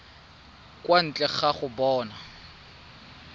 kwa ntle ga go bona